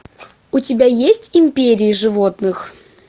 у тебя есть империи животных